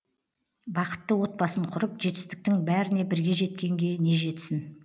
бақытты отбасын құрып жетістіктің бәріне бірге жеткенге не жетсін